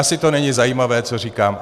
Asi to není zajímavé, co říkám.